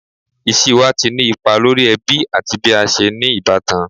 Iṣiwa ti ni ipa lori ẹbi ati bi a ṣe ni ibatan